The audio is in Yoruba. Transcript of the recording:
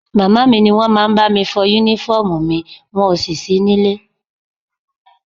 Màmá mi ni wọ́n máa ń bá mi fọ Únífọ́ọ̀mù ́mi wọn ò sì sí nílé